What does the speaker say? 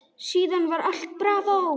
Síðan var allt bravó.